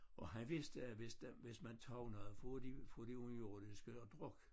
Og han vidste at hvis hvis man tager noget fra de fra de underjordiske at drikke